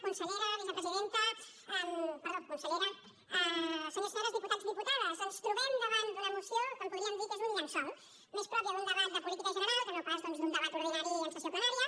consellera vicepresidenta perdó consellera senyors i senyores diputats diputades ens trobem davant d’una moció que en podríem dir que és un llençol més pròpia d’un debat de política general que no pas doncs d’un debat ordinari en sessió plenària